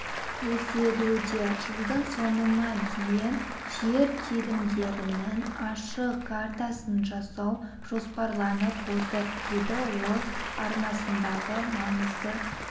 көзделуде жылдың соңына дейін жер телімдерінің ашық картасын жасау жоспарланып отыр деді ол арнасындағы маңызды